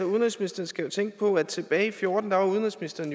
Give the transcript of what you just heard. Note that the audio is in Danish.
udenrigsministeren skal jo tænke på at tilbage i og fjorten var udenrigsministeren